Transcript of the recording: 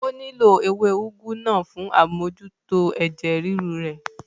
Ó nílò ewé úgú náà fún amójútó ẹ̀jẹ̀ ríru rẹ̀